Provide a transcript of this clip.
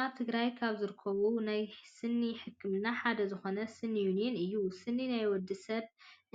ኣብ ትግራይ ካብ ዝርከቡ ናይ ስኒ ሕክምና ሓደ ዝኮነ ስኒ ዩኒየን እዩ ። ስኒ ናይ ወዲስብ